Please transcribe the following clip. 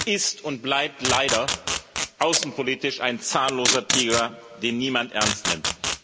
Die EU ist und bleibt leider außenpolitisch ein zahnloser Tiger, den niemand ernst nimmt.